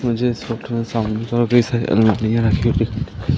मुझे इस फोटो में सामने --